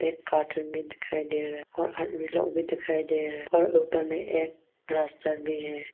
Cartoon भी दिखाई दे रहा है और भी दिखाई दे रहा है और ऊपर में एक रास्ता भी है।